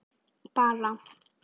Bara